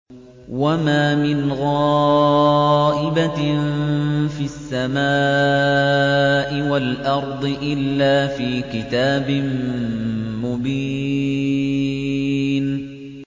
وَمَا مِنْ غَائِبَةٍ فِي السَّمَاءِ وَالْأَرْضِ إِلَّا فِي كِتَابٍ مُّبِينٍ